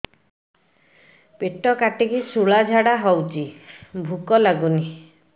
ପେଟ କାଟିକି ଶୂଳା ଝାଡ଼ା ହଉଚି ଭୁକ ଲାଗୁନି